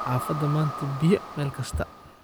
Hafada manta biya Mel kastaa.